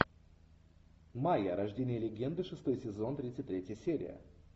майя рождение легенды шестой сезон тридцать третья серия